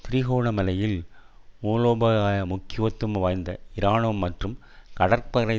திருகோணமலையில் மூலோபாய முக்கியத்துவம் வாய்ந்த இராணுவ மற்றும் கடற்படை